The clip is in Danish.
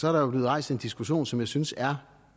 er der jo blevet rejst en diskussion som jeg synes er